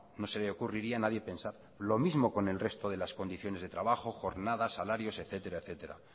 no se le ocurriría a nadie pensarlo lo mismo con el resto de condiciones de trabajo jornadas salarios etcétera